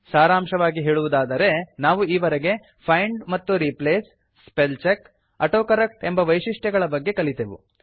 ಸಾರಾಂಶವಾಗಿ ಹೇಳುವುದಾದರೆ ನಾವು ಈವರೆಗೆ ಫೈಂಡ್ ಮತ್ತು replace spell check auto correct ಎಂಬ ವೈಶಿಷ್ಟ್ಯಗಳ ಬಗ್ಗೆ ಕಲಿತೆವು